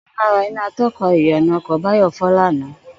Ò̩kan lára iná ató̩ka ìyànà o̩kò̩ Báyò̩ fó̩ lánàá